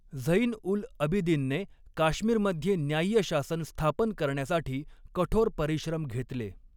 झैन उल अबिदिनने काश्मीरमध्ये न्याय्य शासन स्थापन करण्यासाठी कठोर परिश्रम घेतले.